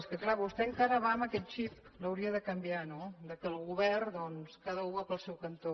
és que clar vostè encara va amb aquell xip l’hauria de canviar no que al govern cada u va pel seu cantó